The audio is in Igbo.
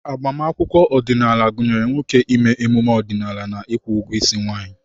Agbamakwụkwọ ọdịnala gụnyere nwoke ime emume ọdịnala na ịkwụ ụgwọ isi nwanyị.